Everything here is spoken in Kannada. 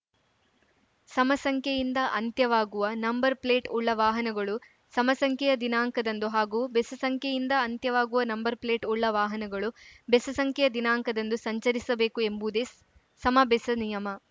ಸಮಸಂಖ್ಯೆಯಿಂದ ಅಂತ್ಯವಾಗುವ ನಂಬರ್‌ಪ್ಲೇಟ್‌ ಉಳ್ಳ ವಾಹನಗಳು ಸಮಸಂಖ್ಯೆಯ ದಿನಾಂಕದಂದು ಹಾಗೂ ಬೆಸಸಂಖ್ಯೆಯಿಂದ ಅಂತ್ಯವಾಗುವ ನಂಬರ್‌ಪ್ಲೇಟ್‌ ಉಳ್ಳ ವಾಹನಗಳು ಬೆಸಸಂಖ್ಯೆಯ ದಿನಾಂಕದಂದು ಸಂಚರಿಸಬೇಕು ಎಂಬುದೇ ಸಮಬೆಸ ನಿಯಮ